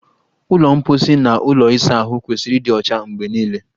Ụlọ mposi na ụlọ ịsa ahụ kwesịrị ịdị ọcha mgbe niile.